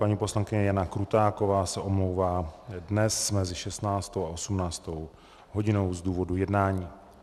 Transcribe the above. Paní poslankyně Jana Krutáková se omlouvá dnes mezi 16 a 18 hodinou z důvodu jednání.